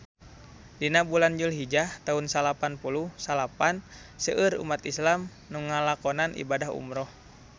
Dina bulan Julhijah taun salapan puluh salapan seueur umat islam nu ngalakonan ibadah umrah